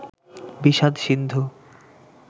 বিষাদ সিন্ধু